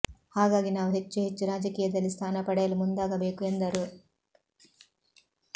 ಹಾಗಾಗಿ ನಾವು ಹೆಚ್ಚು ಹೆಚ್ಚು ರಾಜಕೀಯದಲ್ಲಿ ಸ್ಥಾನ ಪಡೆಯಲು ಮುಂದಾಗಬೇಕು ಎಂದರು